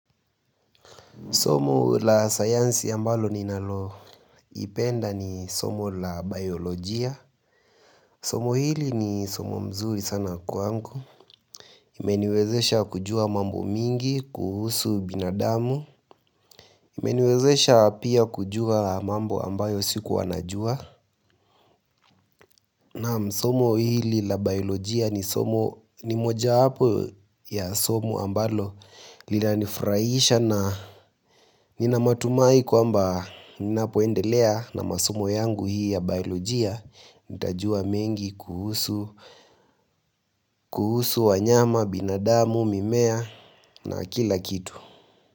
Somo la science ambalo ninaloipenda ni somo la biolojia. Somo hili ni somo mzuri sana kwangu. Imeniwezesha kujua mambo mingi, kuhusu binadamu. Imeniwezesha pia kujua mambo ambayo sikuwa najua. Naam somo hili la biolojia ni somo ni mojawapo ya somo ambalo. Linanifurahisha na nina matumai kwamba ninapoendelea na masomo yangu hii ya biolojia Nitajua mengi kuhusu wanyama, binadamu, mimea na kila kitu.